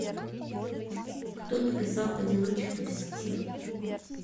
кто написал одиночество в сети